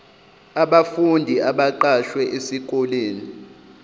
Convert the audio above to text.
abafundi abaqashwe esikoleni